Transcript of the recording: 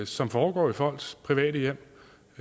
som foregår i folks private hjem